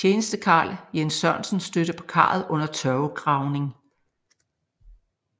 Tjenestekarl Jens Sørensen stødte på karret under tørvegravning